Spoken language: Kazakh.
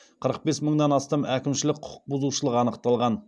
қырық бес мыңнан астам әкімшілік құқықбұзушылық анықталған